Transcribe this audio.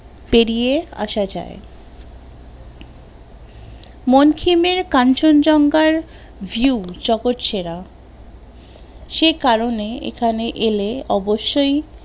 পেরিয়ে আসা যায় মানকিনের কাঞ্চন জঙ্ঘার view জগৎ সেরা সে কারণে এখানে এলে অবশ্যই